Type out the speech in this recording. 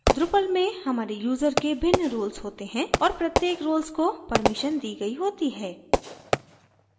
drupal में हमारे user के भिन्न roles होते हैं और प्रत्येक roles को permissions दी गई होती है